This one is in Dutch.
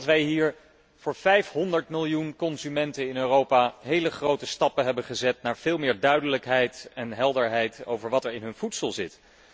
Wij hebben voor 500 miljoen consumenten in Europa hele grote stappen gezet naar veel meer duidelijkheid en helderheid over wat er in hun voedsel zit.